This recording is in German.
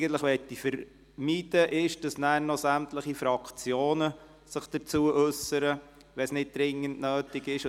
Eigentlich möchte ich aber vermeiden, dass sich anschliessend noch sämtliche Fraktionen dazu äussern, wenn es nicht dringend nötig ist.